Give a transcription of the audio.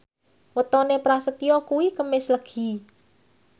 wetone Prasetyo kuwi Kemis Legi